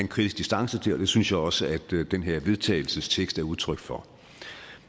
kritisk distance til og det synes jeg også at den her vedtagelsestekst er udtryk for